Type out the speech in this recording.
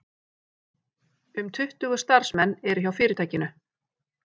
Um tuttugu starfsmenn eru hjá fyrirtækinu